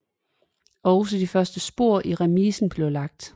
Også de første spor i remisen blev lagt